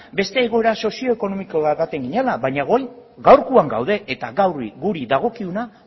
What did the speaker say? beste egoera sozioekonomiko baten ginela baina orain gaurkoan gaude eta gaur guri dagokiguna